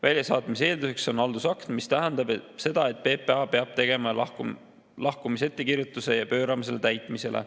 Väljasaatmise eelduseks on haldusakt, mis tähendab seda, et PPA peab tegema lahkumisettekirjutuse ja pöörama selle täitmisele.